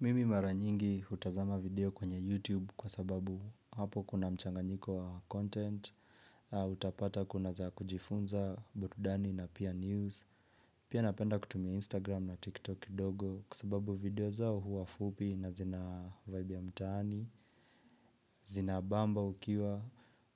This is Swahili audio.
Mimi mara nyingi hutazama video kwenye YouTube kwa sababu hapo kuna mchanganyiko wa content, utapata kuna za kujifunza burudani na pia news. Pia napenda kutumia Instagram na TikTok kidogo kwa sababu video zao huwa fupi na zina vibe ya mtaani, zinabamba ukiwa